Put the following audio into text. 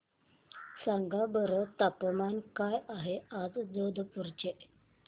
सांगा बरं तापमान काय आहे आज जोधपुर चे